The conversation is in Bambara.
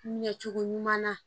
Ɲɛcogo ɲuman na